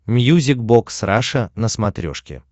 мьюзик бокс раша на смотрешке